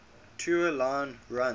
tua line runs